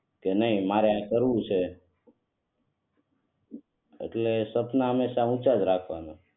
કે નાઈ મારે આ કરવું છે એટલે સપના હમેશા ઊંચા જ રાખવાના